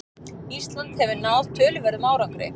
Ísland hefur náð töluverðum árangri